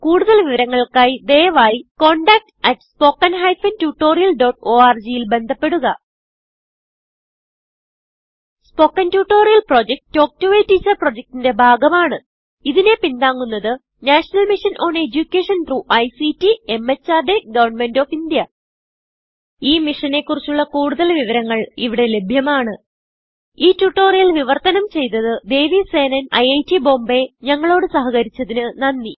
കുടുതൽ വിവരങ്ങൾക്കായി ദയവായിcontactspoken tutorialorg ൽ ബന്ധപ്പെടുക spoken tutorial project talk to a teacher പ്രൊജക്റ്റ്ന്റെ ഭാഗമാണ് ഇതിനെ പിന്താങ്ങുന്നത് national mission on education through ICT MHRD government of India ഈ മിഷനെ കുറിച്ചുള്ള കുടുതൽ വിവരങ്ങൾ ഇവിടെ ലഭ്യമാണ് ഈ ട്യൂട്ടോറിയൽ വിവർത്തനം ചെയ്തത് ദേവി സേനൻIIT Bombayഞങ്ങളോട് സഹകരിച്ചതിന് നന്ദി